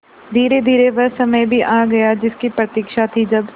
धीरेधीरे वह समय भी आ गया जिसकी प्रतिक्षा थी जब